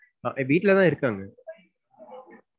வீட்டுலதான் இருக்காங்க.